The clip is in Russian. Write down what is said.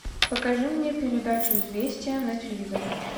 покажи мне передачу известия на телевизоре